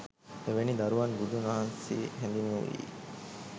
එවැනි දරුවන් බුදුන් වහන්සේ හැඳින්වූයේ